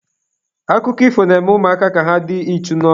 Akụkọ ifo na-eme ụmụaka ka ha dị ichu n'ọrụ.